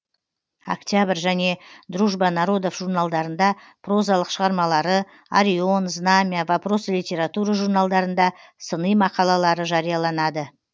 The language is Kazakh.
октябрь және дружба народов журналдарында прозалық шығармалары арион знамя вопросы литературы журналдарында сыни мақалалары жарияланады